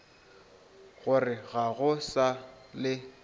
gore ga go sa le